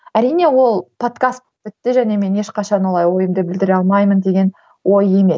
әрине ол подкаст бітті және мен ешқашан олай ойымды білдіре алмаймын деген ой емес